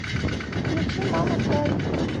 включи мама край